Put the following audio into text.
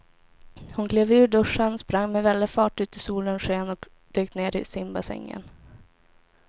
Hon klev ur duschen, sprang med väldig fart ut i solens sken och dök ner i simbassängen.